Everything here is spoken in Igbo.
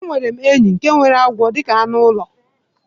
Enwerem enyi nke nwere agwo dika anu ulo